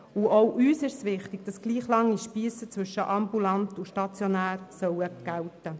Auch uns sind gleich lange Spiesse zwischen ambulant und stationär wichtig.